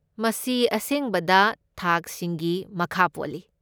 ꯃꯁꯤ ꯑꯁꯦꯡꯕꯗ ꯊꯥꯛꯁꯤꯡꯒꯤ ꯃꯈꯥ ꯄꯣꯜꯂꯤ꯫